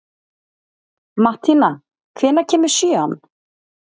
Mattína, hvenær kemur sjöan?